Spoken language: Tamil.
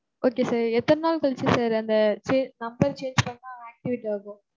Okay sir. எத்தன நாள் கழிச்சி sir அந்த number change பண்ணா activate ஆகும்?